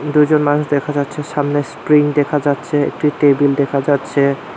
দুইজন মানুষ দেখা যাচ্ছে সামনে স্প্রিং দেখা যাচ্ছে একটি টেবিল দেখা যাচ্ছে।